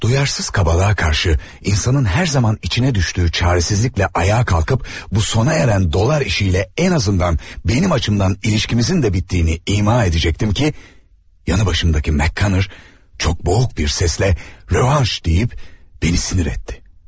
Laqeyd kobudluğa qarşı insanın hər zaman düşdüyü çarəsizliklə ayağa qalxıb bu bitən dollar işi ilə ən azından mənim tərəfimdən münasibətimizin də bitdiyini ima edəcəkdim ki, yanımdakı MakKonnel çox boğuq bir səslə 'revanş' deyib məni əsəbləşdirdi.